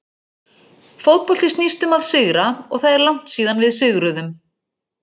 Fótbolti snýst um að sigra og það er langt síðan við sigruðum.